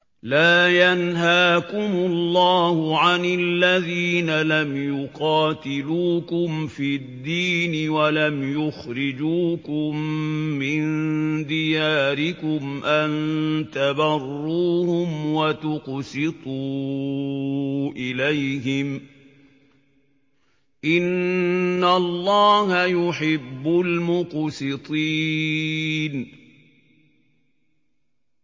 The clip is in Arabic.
لَّا يَنْهَاكُمُ اللَّهُ عَنِ الَّذِينَ لَمْ يُقَاتِلُوكُمْ فِي الدِّينِ وَلَمْ يُخْرِجُوكُم مِّن دِيَارِكُمْ أَن تَبَرُّوهُمْ وَتُقْسِطُوا إِلَيْهِمْ ۚ إِنَّ اللَّهَ يُحِبُّ الْمُقْسِطِينَ